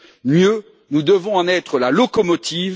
Mieux, nous devons en être la locomotive